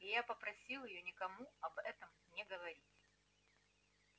и я попросил её никому об этом не говорить